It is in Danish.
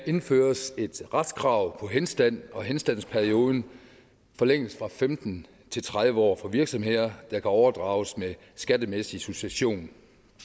indføres et retskrav på henstand og henstandsperioden forlænges fra femten til tredive år for virksomheder der kan overdrages med skattemæssig succession